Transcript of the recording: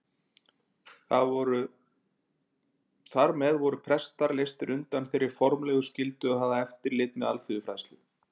Þar með voru prestar leystir undan þeirri formlegu skyldu að hafa eftirlit með alþýðufræðslu.